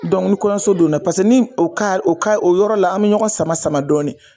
ni kɔɲɔso donna paseke ni o o o yɔrɔ la, an mi ɲɔgɔn sama sama dɔɔnin.